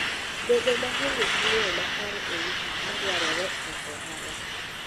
Bedo maonge gi ng'eyo makare e wi gik madwarore e ohala.